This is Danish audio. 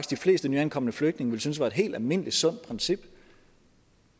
de fleste nyankomne flygtninge ville synes var et helt almindeligt sundt princip